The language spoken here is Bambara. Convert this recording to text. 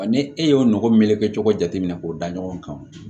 Wa ni e y'o nɔgɔ meleke cogo jateminɛ k'o da ɲɔgɔn kan